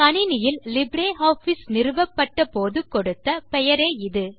கணினியில் லிப்ரியாஃபிஸ் நிறுவப்பட்ட போது கொடுத்த பெயரே இது